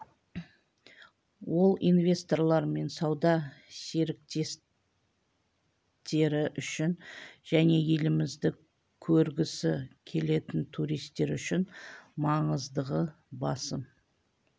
ол инвесторлар мен сауда серіктестері үшін және елімізді көргісі келетін туристтер үшін маңыздығы басым